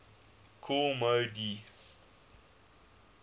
kool moe dee